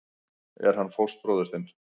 Er hann fóstbróðir þinn?